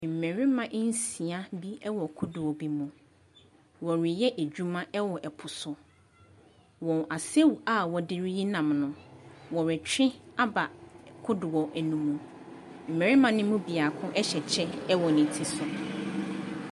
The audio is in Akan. Mmarima nsia bi wɔ kodoɔ bi mu. Wɔreyɛ adwuma wɔ po so. Wɔn asau a wɔde reyi nnam no, wɔretwe aba kodoɔ no mu. Mmarima no mu biako hyɛ kyɛ wɔ ne ti so.